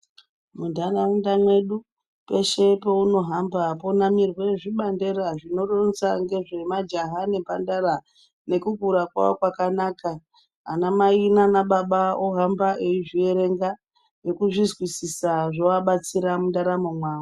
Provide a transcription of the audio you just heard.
Mundaraunda mwedu peshe paunohamba ponamirwa zvibandera zvinoronza nezvemajaha nemhandara nekukura kwawo kwakanaka ana mai nana baba vohamba vachizvierenga nekuzvizwisisa zvovabatsira mundaramo mawo.